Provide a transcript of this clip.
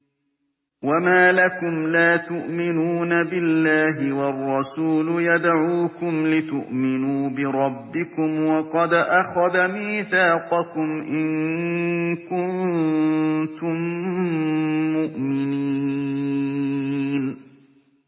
وَمَا لَكُمْ لَا تُؤْمِنُونَ بِاللَّهِ ۙ وَالرَّسُولُ يَدْعُوكُمْ لِتُؤْمِنُوا بِرَبِّكُمْ وَقَدْ أَخَذَ مِيثَاقَكُمْ إِن كُنتُم مُّؤْمِنِينَ